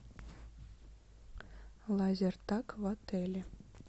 лазертаг в отеле